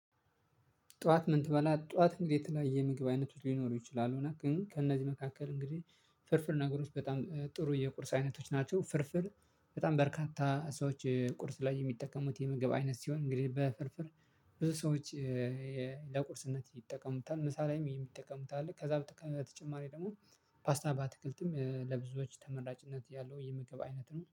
ጠዋት ምን ትበላ ጠዋት የተለያየ ምግብ አይነቱ ሊኖሩ ይችላሉ? ግን ከእነዚህ መካከል እንግዲህ ፍርፍር ነገሮች በጣም ጥሩ የቁርስ አይነቶች ናቸው። ፍርፍር በጣም በርካታ ሰዎች ቁርስ ላይ የሚጠቀሙት የምግብ አይነት ሲሆን እንግዲህ በፍርፍር ብዙ ሰዎች ለቁርስነት ይጠቀሙታል። ምሳ ላይም ይሄን የሚጠቀሙት አሉ። ከዛ በተጨማሪ ደግሞ ፓስታ ባትክልትም ለብዙዎች ተመራጭነት ያለው የምግብ አይነት ነው